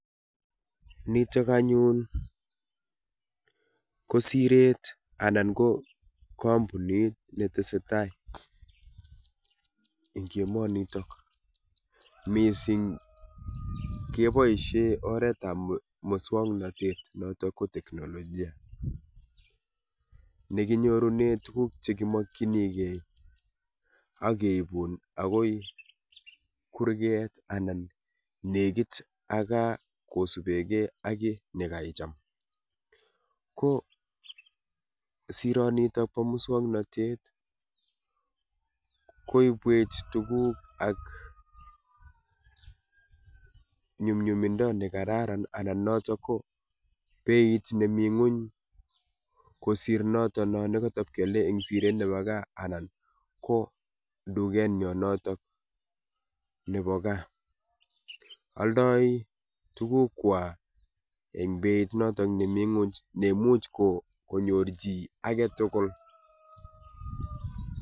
Nitok anyun ko siret anan ko kampunit netesetai eng' emonitok. Missing keboisie oretab muswong'natet notok ko teknolojia nekinyorune tuguk chegimakchinigei ageibun agoi kurget anan negit ak gaa kosubegei ak kiy ne kaicham. Ko sironitok bo muswong'natet koibwech tuguk ak nyumnyumindo ne kararan anan notok ko beit nemi ng'uny kosir notono ne katapkealei eng' siret nebo gaa anan ko duket nyo notok nebo gaa. Aldoi tuguk kwaa eng' beit notok nemi ng'uny nemuch ko konyor chi age tugul.